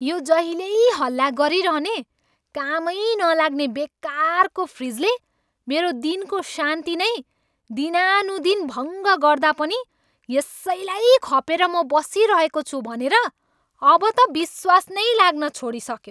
यो जहिल्यै हल्ला गरिरहने, कामै नलाग्ने बेकारको फ्रिजले मेरो दिनको शान्ति नै दिनानुदिन भङ्ग गर्दा पनि यसैलाई खपेर म बसिरहेको छु भनेर अब त विश्वास नै लाग्न छोडिसक्यो।